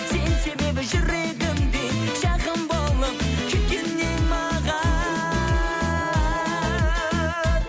сен себебі жүрегімде жақын болып кеткен едің маған